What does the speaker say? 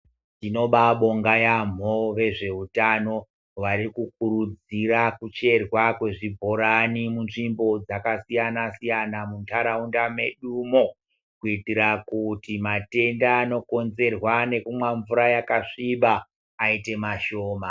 Tinobabonga yambo vezvehutano vari kukurudzira kuti kudetserwa kuzvibhorani munzvimbo dzakasiyana siyana mundaraunda medumo kuitira kuti matenda anokonzerwa nekumwa mvura yakasviba aite mashoma.